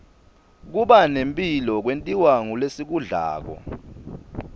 kubane mphilo kwentiwa ngulesikudlako